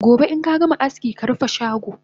Gobe inkagama aski karufe shago!